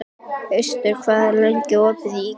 Austar, hvað er lengi opið í IKEA?